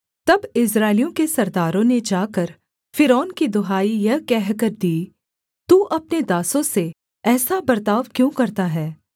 तब इस्राएलियों के सरदारों ने जाकर फ़िरौन की दुहाई यह कहकर दी तू अपने दासों से ऐसा बर्ताव क्यों करता है